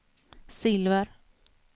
silver